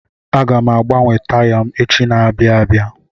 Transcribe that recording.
Aga m agbanwe taya m echi n'abia abịa.